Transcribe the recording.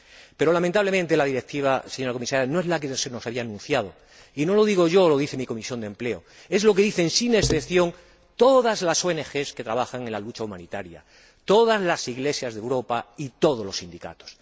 Pero, lamentablemente, la Directiva, señora Comisaria, no es la que se nos había anunciado, y no lo digo yo o mi Comisión de Empleo, es lo que dicen, sin excepción, todas las ONG que trabajan en la lucha humanitaria, todas las Iglesias de Europa y todos los sindicatos.